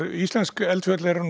íslensk eldfjöll eru